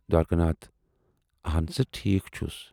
"دوارِکا ناتھ"آہَن سٲ، ٹھیٖک چھُس